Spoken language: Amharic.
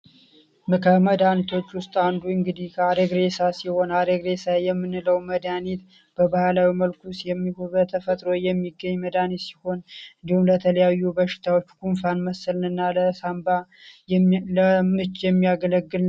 ከመዳኒቶች ውስጥ አንዱ እንግዲ አሬግሬሳ ሲሆን አሬግሬሳ የምንለው መዳኒት በባህላዊ መልኩ የሚሆን በተፈጥሮ የሚገኝ መዳኒት ሲሆን እንዲሁም ለተለያዩ በሽታዎች ኩንፋን መስልንና ለሳንባ ለምችh የሚያገለግል ነው።